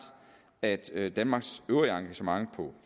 at at danmarks øvrige engagement på